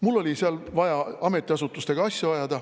Mul oli seal vaja ametiasutustega asju ajada.